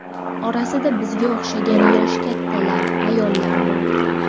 Orasida bizga o‘xshagan yoshi kattalar, ayollar bor.